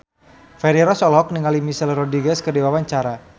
Feni Rose olohok ningali Michelle Rodriguez keur diwawancara